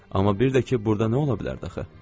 Amma bir də ki, burda nə ola bilərdi axı?